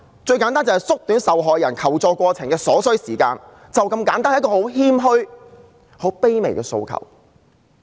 最簡單要做到縮短受害人求助過程所需的時間，便是這麼簡單，是很謙虛和卑微的訴求。